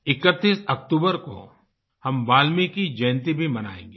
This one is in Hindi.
31 अक्तूबर को हम वाल्मीकि जयंती भी मनाएंगे